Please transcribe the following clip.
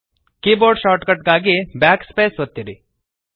keyboard shortcut ಗಾಗಿ Backspace ಒತ್ತಿರಿ